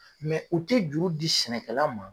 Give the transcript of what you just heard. u tɛ juru di sɛnɛkɛla ma.